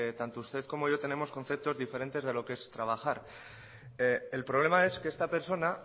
tanto usted como yo tenemos conceptos diferentes de lo que es trabajar el problema es que esta persona